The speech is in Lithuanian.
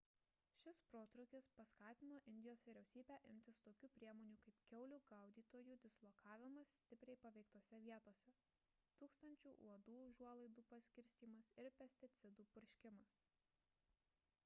šis protrūkis paskatino indijos vyriausybę imtis tokių priemonių kaip kiaulių gaudytojų dislokavimas stipriai paveiktose vietose tūkstančių uodų užuolaidų paskirstymas ir pesticidų purškimas